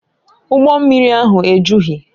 Ụgbọ mmiri ahụ ejughị